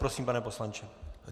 Prosím, pane poslanče.